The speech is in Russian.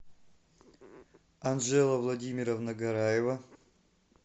анжела владимировна гораева